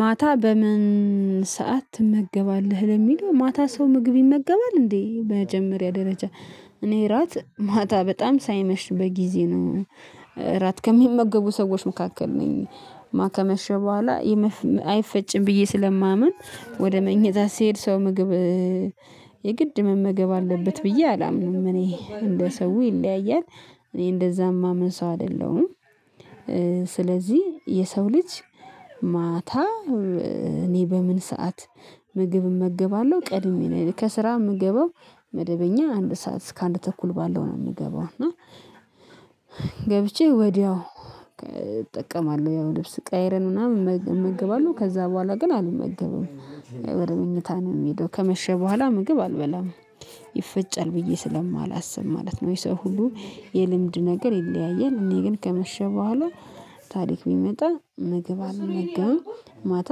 ማታ በም ን ሰዓት ትመገባለህ? ለሚለው ማታ ሰው ምግብ ይመገባል እንዴ በመጀመሪያ ደረጃ። እኔ እራት ማታ በጣም ሳይመሽ በጊዜ ነው። እ እራት ከሚመገቡ ሰዎች መካከል ነኝ። ማ ከመሸ በኋላ አይፈጭም ብዬ ስለማምን ወደ መኝታ ስሄድ ሰው ምግብ የግድ መመገብ አለበት ብዬ አላምንም እኔ እንደ ሰው ይለያያል። እኔ እንደዛም ማምን ሰው አይደለሁም። ስለዚህ የሰው ልጅ ማታ እኔ በምን ሰዓት ምግብ እመገባለሁ ቀድሜ ነው። ከስራ የምገባው መደበኛ አንድ ሰዓት እስከ አንድ ተኩል ባለው ነው የሚገባው እና ገብቼ ወዲያው እጠቀማለሁ ያው ልብስ ቀያይረን ምናምን እመገባለሁ ከዛ በኋላ ግን አልመገብም። ወደ መኝታ ነው የምሄደው ከመሸ በኋላ ምግብ አልበላም። ይፈጫል ብዬ ስለማላስብ ማለት ነው። ወይ ሰው ሁሉ የልምድ ነገር ይለያያል እኔ ግን ከመሸ በኋላ ታሪክ ቢመጣ ምግብ አልመገብም። ማታ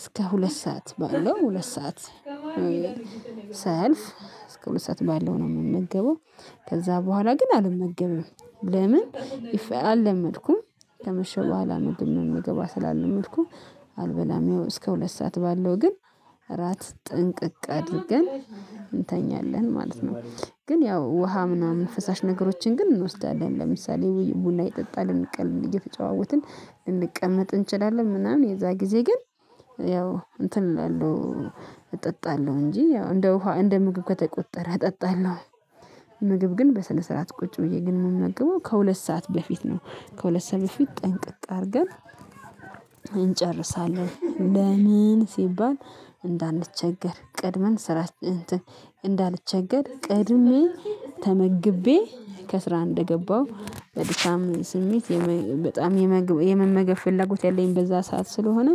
እስከ ሁለት ሰዓት ባለው ሁለት ሰዓት ሳያልፍ እስከ ሁለት ሰዓት ባለው ነው የምመገበው። ከዛ በኋላ ግን አልመገበም። ለምን? አልለመድኩም ከመሸ በኋላ ምግብ መመገብ ስላልለመድኩ አልበላም። ይኸው እስከ ሁለት ሰዓት ባለው ግን እራት ጥንቅቅ አድርገን እንተኛለን ማለት ነው። ግን ያው ውሃ ምናምን ፈሳሽ ነገሮችን ግን እንወስዳለን ለምሳሌ ቡና እየጠጣን ልንቀል እየተጨዋወትን ልንቀመጥ እንችላለን ምናምን የዛ ጊዜ ግን። ያው እንትን እላለሁ እጠጣለሁ እንጂ ያው እንደ ውሃ እንደ ምግብ ከተቆጠረ እጠጣለሁ። ምግብ ግን በስነ ስርዓት ቁጭ ብዬ ግን የምመግበው ከሁለት ሰዓት በፊት ነው። ከሁለት ሰዓት በፊት ጠንቅቅ አድርገን እንጨርሳለን። ለምን? ሲባል እንዳንቸገር ቀድመን ስራ እንትን እንዳልቸገር ቀድሜ ተመግቤ ከስራ እንደገባሁ በድካም ስሜት በጣም የመመገብ ፍላጎት ያለኝ በዛ ሰዓት ስለሆነ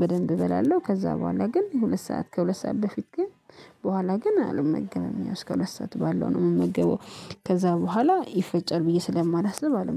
በደንብ እበላለሁ። ከዛ በኋላ ግን ሁለት ሰዓት ከሁለት ሰዓት በፊት ግን በኋላ ግን አልመገብም ያው እስከ ሁለት ሰዓት ባለው ነው የምመገበው። ከዛ በኋላ ይፈጫል ብዬ ስለማላስብ አልመገብም